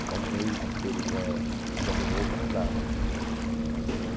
Ficar um mês inteiro eh usando roupa não dava.